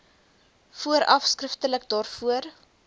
vooraf skriftelik daarvoor